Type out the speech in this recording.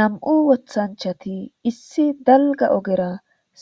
Nam'u wothanchati issi dalga ogera